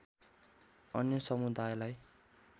अन्य समुदायलाई